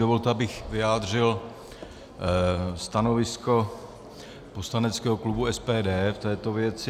Dovolte, abych vyjádřil stanovisko poslaneckého klubu SPD k této věci.